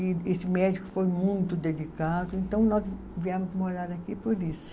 E esse médico foi muito dedicado, então nós viemos morar aqui por isso.